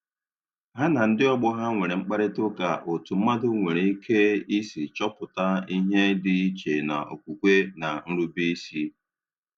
Ha na ndị ọgbọ ha nwere mkparịtaụka otu mmadụ nwere ike isi chọpụta ihe dị iche na okwukwe na nrube isi